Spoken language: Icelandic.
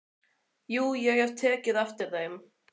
Jú, ég hafði tekið eftir þeim.